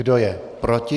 Kdo je proti?